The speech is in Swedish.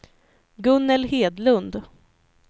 Gunnel Hedlund